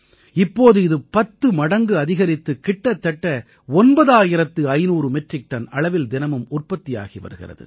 இப்போது இது பத்து மடங்கு அதிகரித்து கிட்டத்தட்ட 9500 மெட்ரிக் டன் அளவில் தினமும் உற்பத்தி ஆகி வருகிறது